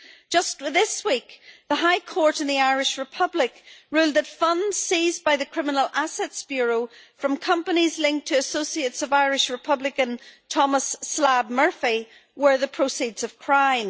Just this week, the High Court in the Irish Republic ruled that funds seized by the Criminal Assets Bureau from companies linked to associates of Irish Republican, Thomas Slab' Murphy, were the proceeds of crime.